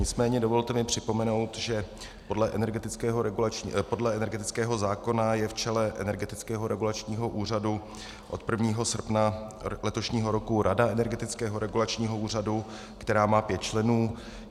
Nicméně dovolte mi připomenout, že podle energetického zákona je v čele Energetického regulačního úřadu od 1. srpna letošního roku Rada Energetického regulačního úřadu, která má pět členů.